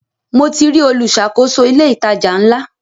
Mo ti rí olùṣàkóso ilé ìtajà ńlá.